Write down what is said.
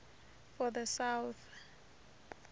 for the south